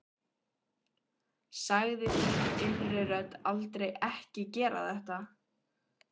Sagði þín innri rödd aldrei Ekki gera þetta?